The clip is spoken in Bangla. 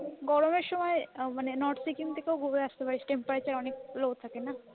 গরমের সময় north সিকিম থেকেও ঘুরে আসতে পারিস temperature অনেক low থাকে তো